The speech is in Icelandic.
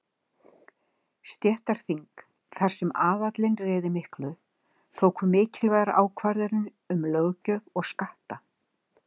Stéttaþing, þar sem aðallinn réði miklu, tóku mikilvægar ákvarðanir um löggjöf og skatta.